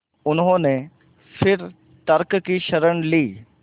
उन्होंने फिर तर्क की शरण ली